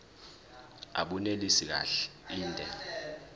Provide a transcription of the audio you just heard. abunelisi kahle inde